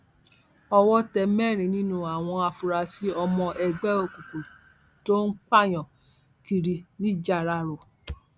owó tẹ mẹrin nínú àwọn afurasí ọmọ ẹgbẹ òkùnkùn tó ń pààyàn kiri nìjáráró